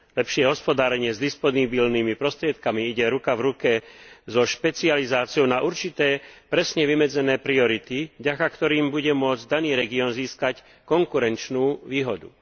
Lepšie hospodárenie s disponibilnými prostriedkami ide ruka v ruke so špecializáciou na určité presne vymedzené priority, vďaka ktorým bude môcť daný región získať konkurenčnú výhodu.